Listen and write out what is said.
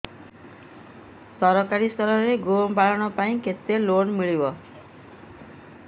ସରକାରୀ ସ୍ତରରେ ଗୋ ପାଳନ ପାଇଁ କେତେ ଲୋନ୍ ମିଳେ